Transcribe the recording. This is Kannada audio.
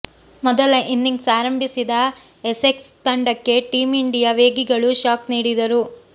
ಮೊದಲ ಇನ್ನಿಂಗ್ಸ್ ಆರಂಭಿಸಿದ ಎಸೆಕ್ಸ್ ತಂಡಕ್ಕೆ ಟೀಂ ಇಂಡಿಯಾ ವೇಗಿಗಳು ಶಾಕ್ ನೀಡಿದರು